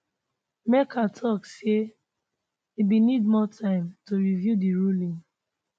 merchan tok say e bin need more time to review di ruling